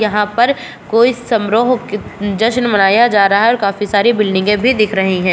यहाँ पर कोई समरोह जश्न मनाया जा रहा है और काफी सारी बिल्डिंगे भी दिख रही हैं।